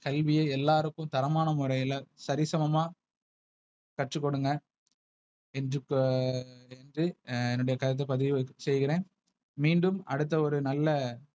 கல்விய எல்லாருக்கும் தரமான முறையில, சரிசமமா கற்றுக்கொடுங்க. இன்ருப்ப இன்று என்னுடைய கருத்துப் பதிவு செய்கிறேன். மீண்டும் அடுத்த ஒரு நல்ல.